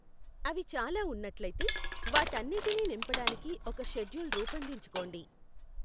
అవి చాలా ఉన్నట్లయితే, వాటన్నిటినీ నింపడానికి ఒక షెడ్యూల్ రూపొందించుకోండి.